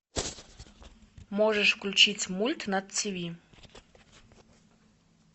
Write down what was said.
можешь включить мульт на ти ви